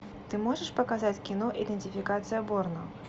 ты можешь показать кино идентификация борна